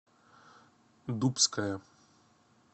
дубская